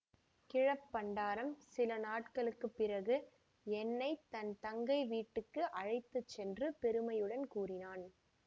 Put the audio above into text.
கிழப் பண்டாரம் சில நாட்களுக்கு பிறகு என்னை தன் தங்கை வீட்டுக்கு அழைத்து சென்று பெருமையுடன் கூறினான்